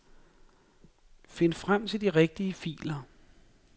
Find frem til de rigtige filer.